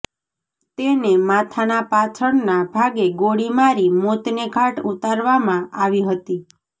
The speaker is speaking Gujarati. તેને માથાના પાછળના ભાગે ગોળી મારી મોતને ઘાટ ઉતારવામાં આવી હતી